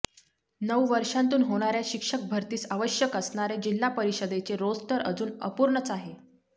नऊ वर्षांतून होणार्या शिक्षक भरतीस आवश्यक असणारे जिल्हा परिषदेचे रोस्टर अजून अपूर्णच आहे